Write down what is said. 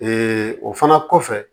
o fana kɔfɛ